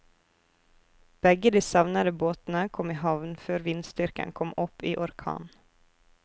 Begge de savnede båtene kom i havn før vindstyrken kom opp i orkan.